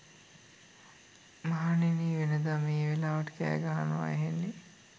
මහණෙනි, වෙනද මේ වෙලාවට කෑගහනව ඇහෙන්නේ